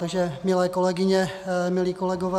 Takže milé kolegyně, milí kolegové.